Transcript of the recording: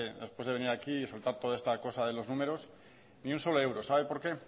después de venir aquí y soltar toda esta cosa de los números ni un solo euro sabe por qué